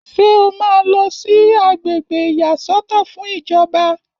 Ṣé o máa lọ sí àgbègbè ìyàsọ́tọ̀ fún ìjọba?